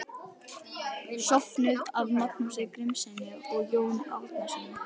Söfnuð af Magnúsi Grímssyni og Jóni Árnasyni.